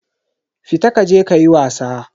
Fita kaje kayi wasa.